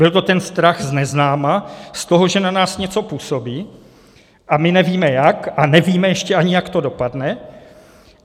Byl to ten strach z neznáma, z toho, že na nás něco působí a my nevíme jak a nevíme ještě ani, jak to dopadne.